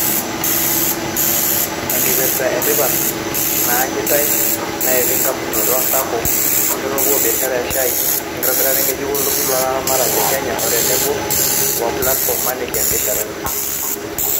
Enkipirta etipat naanyitay naa etii engamunoto o SACCOs, enkitopua o biasharani e shaai, enkitobira ngejuk o lturur loolaramatak le Kenya o tenebo wemplatfom naangar ibiasharani.